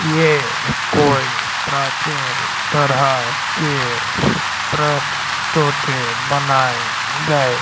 ये कोई प्राचीन तरह के बनाए गए--